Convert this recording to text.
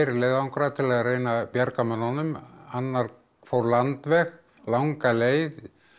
leiðangrar til að reyna að bjarga mönnunum annar fór landveg langa leið